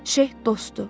Şeyx dostdur.